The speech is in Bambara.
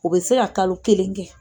U bɛ se ka kalo kelen kɛ